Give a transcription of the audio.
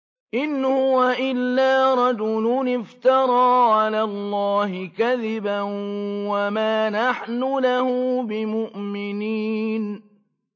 إِنْ هُوَ إِلَّا رَجُلٌ افْتَرَىٰ عَلَى اللَّهِ كَذِبًا وَمَا نَحْنُ لَهُ بِمُؤْمِنِينَ